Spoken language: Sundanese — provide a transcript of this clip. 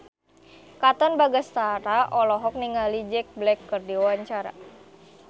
Katon Bagaskara olohok ningali Jack Black keur diwawancara